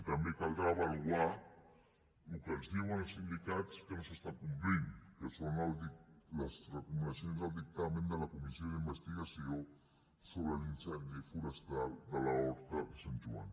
i també caldrà avaluar el que ens diuen els sindicats que no s’està complint que són les recomanacions del dictamen de la comissió d’investigació sobre l’incendi forestal d’horta de sant joan